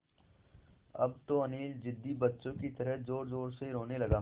अब तो अनिल ज़िद्दी बच्चों की तरह ज़ोरज़ोर से रोने लगा